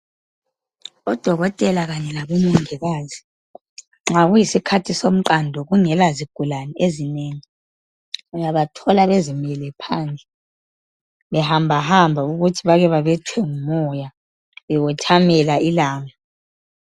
Odokotela kanye labo mongikazi nxa ku yisikhathi somqando kungela zigulane ezinengi uyabathola bezimele phandle behamba hamba ukuthi bake bebethwe ngumoya bewothamela ilanga.